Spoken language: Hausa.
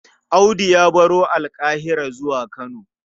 Audu ya baro Alƙahira zuwa Kano.